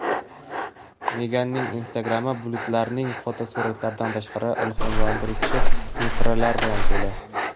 Meganning Instagram’i bulutlarning fotosuratlaridan tashqari, ilhomlantiruvchi misralar bilan to‘la.